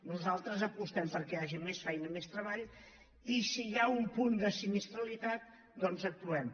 nosaltres apostem perquè hi hagi més feina i més treball i si hi ha un punt de sinistralitat doncs actuem